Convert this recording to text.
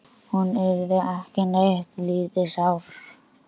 Hún yrði ekki neitt lítið sár.